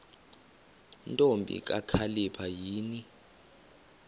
ntombi kakhalipha yini